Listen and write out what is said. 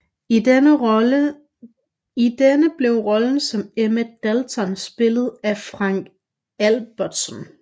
I denne blev rollen som Emmett Dalton spillet af Frank Albertson